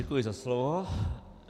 Děkuji za slovo.